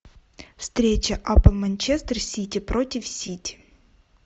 встреча апл манчестер сити против сити